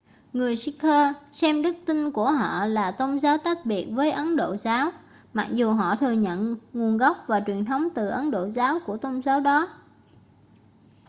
người sikh xem đức tin của họ là tôn giáo tách biệt với ấn độ giáo mặc dù họ thừa nhận nguồn gốc và truyền thống từ ấn độ giáo của tôn giáo đó